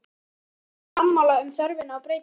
Eru sjálfstæðismenn sammála um þörfina á breytingum?